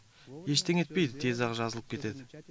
ештеңе етпейді тез ақ жазылып кетеді